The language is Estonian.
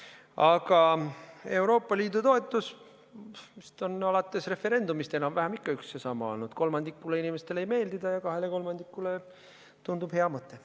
Aga Euroopa Liidu toetus on alates referendumist enam-vähem üks ja sama olnud: kolmandikule inimestele see ei meeldi ja kahele kolmandikule tundub hea mõte.